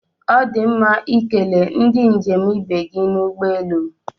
Ọ dị mma ikele ndị njem ibe gị n'ụgbọelu